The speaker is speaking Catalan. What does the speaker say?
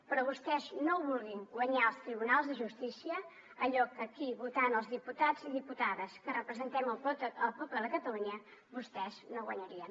però vostès no vulguin guanyar als tribunals de justícia allò que aquí votant els diputats i les diputades que representem el poble de catalunya vostès no guanyarien